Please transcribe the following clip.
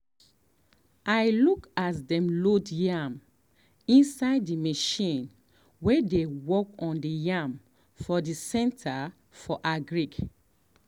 i look as dem load yam inside the machine way dem work on the yam for the center for agric.